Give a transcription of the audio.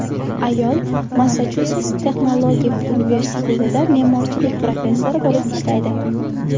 Ayol Massachusets texnologik universitetida me’morchilik professori bo‘lib ishlaydi.